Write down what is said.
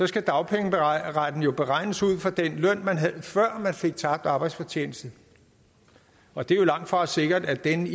skal dagpengeretten jo beregnes ud fra den løn man havde før man fik tabt arbejdsfortjeneste og det er jo langtfra sikkert at den i